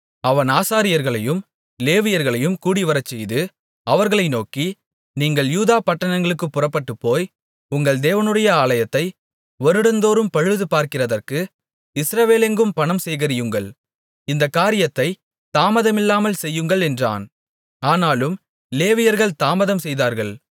அவன் ஆசாரியர்களையும் லேவியர்களையும் கூடிவரச்செய்து அவர்களை நோக்கி நீங்கள் யூதா பட்டணங்களுக்குப் புறப்பட்டுப்போய் உங்கள் தேவனுடைய ஆலயத்தை வருடந்தோரும் பழுதுபார்க்கிறதற்கு இஸ்ரவேலெங்கும் பணம் சேகரியுங்கள் இந்தக் காரியத்தைத் தாமதமில்லாமல் செய்யுங்கள் என்றான் ஆனாலும் லேவியர்கள் தாமதம்செய்தார்கள்